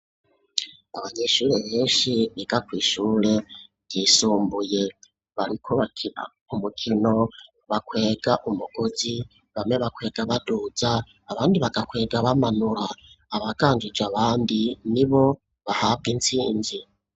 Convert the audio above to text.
Abanyeshuri benshi biga kw'ishure ryisumbuye barikubakira umukino bakwega umugozi bamwe bakwega badudza abandi bagakwega bamanura abaganjuje abandi ni bo bahabwa intsinzi.